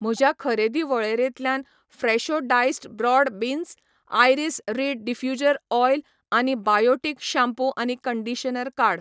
म्हज्या खरेदी वळेरेंतल्यान Fresho diced broad beans, Iris reed diffuser oil आनी बायोटीक शाम्पू आनी कंडिशनर काड.